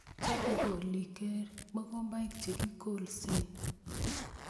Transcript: chope koliik mugombaik che kikolse